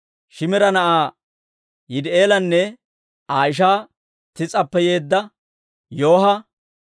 Shiimira na'aa Yidi'eelanne Aa ishaa Tiis'appe yeedda Yooha,